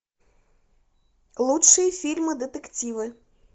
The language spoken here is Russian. лучшие фильмы детективы